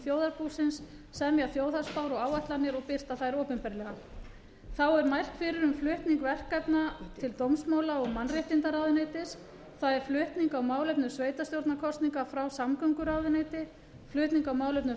þjóðarbúsins semja þjóðhagsspár og áætlanir og birta þær opinberlega þá er mælt fyrir um flutning verkefna til dómsmála og mannréttindaráðuneyti það er flutning á málefnum sveitarstjórnarkosninga frá samgönguráðuneyti flutning á málefnum